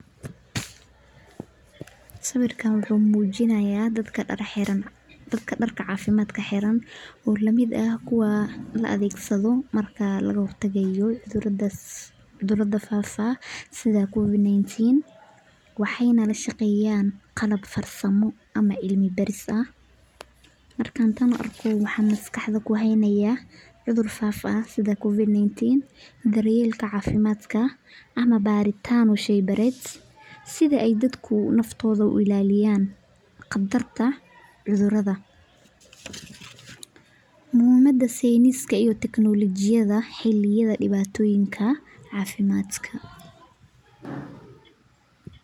Sawirkan wuxu mukinayaa, dadka dar xiraan, dadka darka cafimadka xiraan oo lmid ah kuwa laadegsado, marka lagahortagayo cudurada sidha cudurad fafaa, sidha covic 19, waxayna lashaqeyaan qalab farsamaa ama cilmi baris ah, markan tan arko waxan miskaxda kuxaynayaa cudur faafaa sidha covic 19 ama daryelka cafimadka, ama baritaan o sheybared sidha ay dadka naftoda uilaliyan, qatarta cuduradaa, mixiimada science ama technology, xiliyada diwatoyinka cafimadka.